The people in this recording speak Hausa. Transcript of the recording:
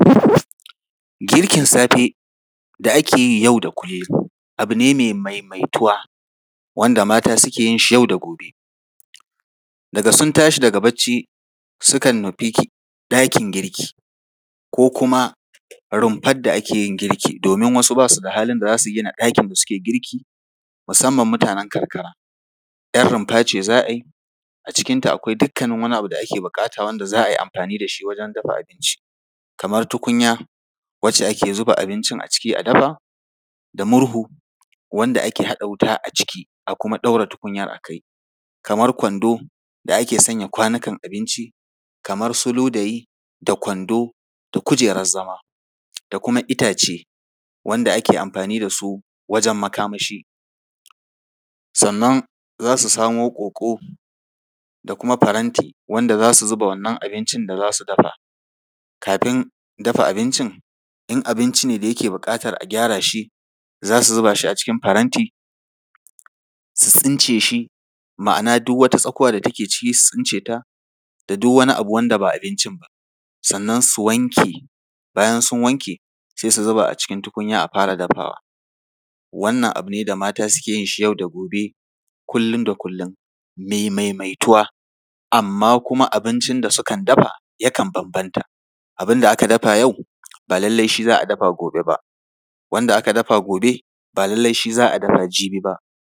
Girkin safe da ake yi yau da kullum abu ne mai maimaituwa, wanda mata suke yinshi yau da gobe. Daga sun tashi daga barci, sukan nufi ɗakin girki ko kuma rumfar da ake yin girki, domin wasu ba su da halin da za su gina ɗakin da suke girki, musamman mutanen karkara, ‘Yar rumfa ce za a yi, a cikinta akwai dukkanin wani abu da ake buƙata, wanda za a yi amfani da shi wajen dafa abinci. Kamar tukunya, wacce ake zuba abincin a ciki a dafa, da murhu, wanda ake haɗa wuta a ciki a kuma ɗaura tukunyar a kai, kamar kwando, da ake saka kwanukan abinci, kamar su ludayi da kwando da kujerar zama da kuma itace, wanda ake amfani da su wajen makamashi. Sannan za su samo ƙoƙo da kuma faranti, wanda za su zuba wannan abincin da za su dafa. Kafin dafa abincin, in abinci ne da yake buƙatar a gyara shi, za su zuba shi a cikin faranti, su tsince shi, ma’ana duk wata tsakuwa da take ciki su tsince ta, da duk wani abu wanda ba abincin ba. Sannan su wanke, bayan sun wanke, sai su zuba a cikin tukunya a fara dafawa. Wannan abu ne da mata suke yin shi yau da gobe, kullm da kullum, mai maimaituwa. Amma kuma abincin da sukan dafa, yakan bambanta. Abin da aka dafa yau, ba lallai shi za a dafa gobe ba. Wanda aka dafa gobe, ba lallai shi za a dafa jibi ba.